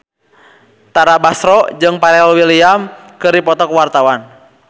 Tara Basro jeung Pharrell Williams keur dipoto ku wartawan